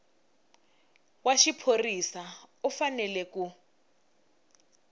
wa xiphorisa u fanele ku